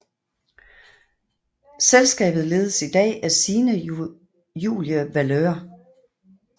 Selskabet ledes i dag af Signe Julie Valeur